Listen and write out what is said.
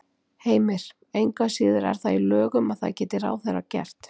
Heimir: Engu að síður er það í lögum að það geti ráðherra gert?